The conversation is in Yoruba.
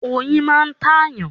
Oyin máa ń tàyàn.